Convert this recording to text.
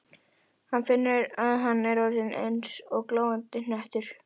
Rósu en hún var notuð á forsíðu landkynningarbæklings Flugfélags Íslands.